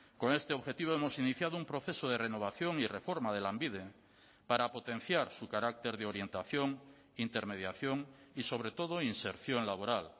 con este objetivo hemos iniciado un proceso de renovación y reforma de lanbide para potenciar su carácter de orientación intermediación y sobre todo inserción laboral